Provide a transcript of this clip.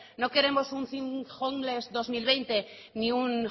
no queremos un homeless dos mil veinte ni un